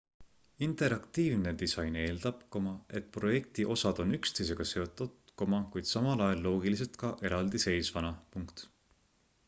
interaktiivne disain eeldab et projekti osad on üksteisega seotud kuid samal ajal loogilised ka eraldiseisvana